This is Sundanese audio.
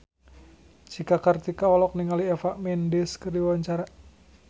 Cika Kartika olohok ningali Eva Mendes keur diwawancara